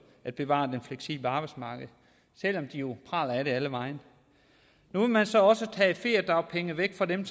at bevare det fleksible arbejdsmarked selv om de jo praler af det alle vegne nu vil man så også tage feriedagpengene væk fra dem